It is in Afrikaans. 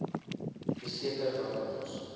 verseker dat ons